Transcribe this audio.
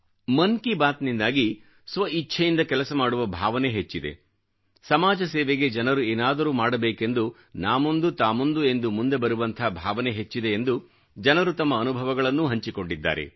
ಮನ್ ಕಿ ಬಾತ್ ನಿಂದಾಗಿ ಸ್ವ ಇಚ್ಛೆಯಿಂದ ಕೆಲಸ ಮಾಡುವ ಭಾವನೆ ಹೆಚ್ಚಿದೆ ಸಮಾಜ ಸೇವೆಗೆ ಜನರು ಏನಾದರೂ ಮಾಡಬೇಕೆಂದು ನಾ ಮುಂದು ತಾ ಮುಂದು ಎಂದು ಮುಂದೆ ಬರುವಂಥ ಭಾವನೆ ಹೆಚ್ಚಿದೆ ಎಂದು ಜನರು ತಮ್ಮ ಅನುಭವಗಳನ್ನೂ ಹಂಚಿಕೊಂಡಿದ್ದಾರೆ